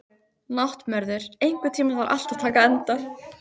Náttmörður, einhvern tímann þarf allt að taka enda.